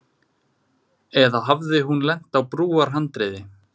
Eða hafði hún lent á brúarhandriði.